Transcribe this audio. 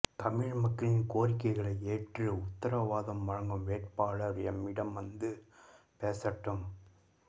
தமிழ் மக்களின் கோரிக்கைகளை ஏற்று உத்தரவாதம் வழங்கும் வேட்பாளர் எம்மிடம் வந்து பேசட்டும்